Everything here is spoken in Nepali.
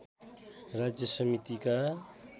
राज्य समितिका